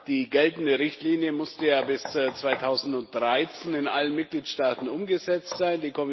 Die geltende Richtlinie musste ja bis 2013 in allen Mitgliedstaaten umgesetzt sein.